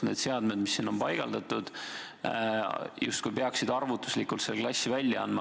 Need seadmed, mis sinna on paigaldatud, justkui peaksid arvutuslikult selle klassi välja andma.